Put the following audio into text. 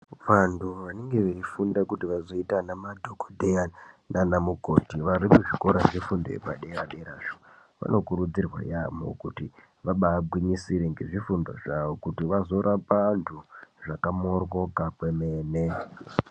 Vantu vanenge veifunda kuti vazoita vana madhogodheya nana mukoti vari muzvikora zvefundo yepadera-derazvo. Vanokurudzirwe yaambo kuti vabagwinyisire nezvifundo zvavo kuti vazorapa antu zvakamoryoka kwemene.